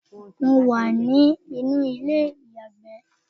mo wà ní inú ilé iyagbe